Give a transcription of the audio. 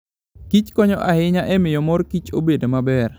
Kich konyo ahinya e miyo mor kich obed maber.